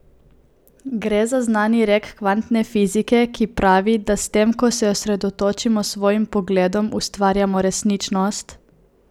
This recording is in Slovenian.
Gre za znani rek kvantne fizike, ki pravi, da s tem, ko se osredotočimo, s svojim pogledom ustvarjamo resničnost?